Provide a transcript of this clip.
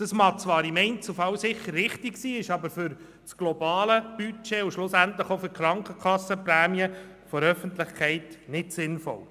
Das mag zwar im Einzelfall sicher richtig sein, ist aber für das globale Budget und schlussendlich auch für die Krankenkassenprämie der Öffentlichkeit nicht sinnvoll.